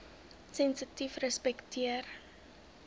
sensitiefrespekteer